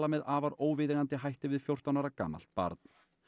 með afar óviðeigandi hætti við fjórtán ára gamalt barn